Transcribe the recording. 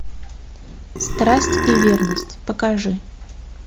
страсть и верность покажи